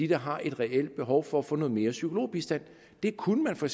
der har reelt behov for at få noget mere psykologbistand det kunne man for